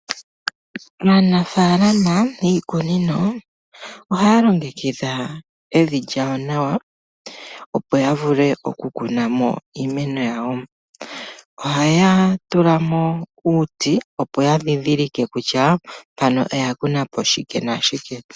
Aanafaalama yiikunino, ohaya longekidha evi lyawo nawa, opo ya vule oku kuna mo iimeno yawo. Ohaya tula mo uuti, opo ya ndhindilike kutya mpano oya kunapo shike nashike.